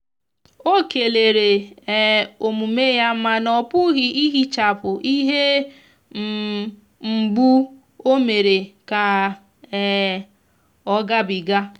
ọ kelere um omume yamana ọpughi ihechapu ihe um mgbu o mere ka um ọ ga bi ga.